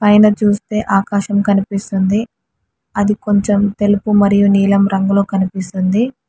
పైన చూస్తే ఆకాశం కనిపిస్తుంది. అది కొంచెం తెలుపు మరియు నీలం రంగులో కనిపిస్తుంది.